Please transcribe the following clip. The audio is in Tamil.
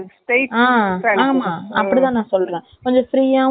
gray color சுடிதார் நான் இப்போ தைச்சதுக்கு அந்த மாதிரி.